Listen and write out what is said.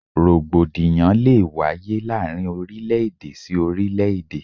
Rògbòdìyàn lé e wáyé láàárín orílẹ̀-èdè sí orílẹ̀-èdè.